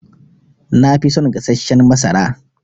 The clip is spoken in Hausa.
Nafi son gassashen masara.